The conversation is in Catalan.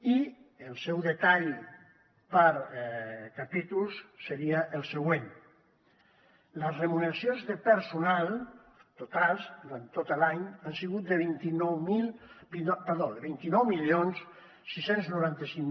i el seu detall per capítols seria el següent les remuneracions de personal totals durant tot l’any han sigut de vint nou mil sis cents i noranta cinc